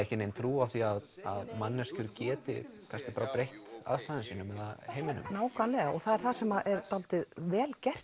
ekki nein trú á því að manneskjur geti breytt aðstæðum sínum eða heiminum nákvæmlega það er það sem er dálítið vel gert